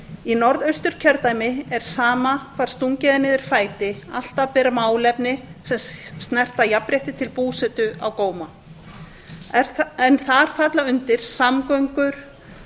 í norðausturkjördæmi er sama hvar stungið er niður fæti alltaf ber málefni sem snerta jafnrétti til búsetu á góma þar falla undir samgöngur